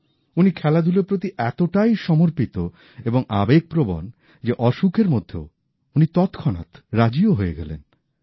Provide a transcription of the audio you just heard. উনি খেলাধুলোর প্রতি এতটাই নিবেদিত এবং আবেগপ্রবণ যে অসুখের মধ্যেও উনি তৎক্ষণাৎ রাজিও হয়ে গেলেন